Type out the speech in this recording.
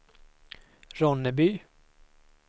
Ronneby